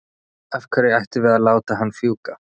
Af hverju ættum við að láta hann fjúka?